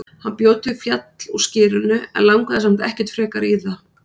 Hann bjó til fjall úr skyrinu en langaði samt ekkert frekar í það.